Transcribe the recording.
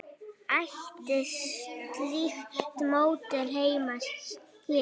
Ætti slíkt módel heima hér?